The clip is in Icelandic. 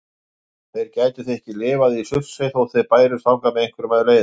Þeir gætu því ekki lifað í Surtsey þótt þeir bærust þangað með einhverjum leiðum.